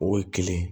O ye kelen ye